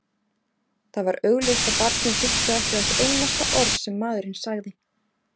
Það var augljóst að barnið hlustaði ekki á eitt einasta orð sem maðurinn sagði.